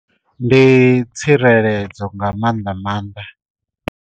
Ndi tsireledzo nga maanḓa maanḓa.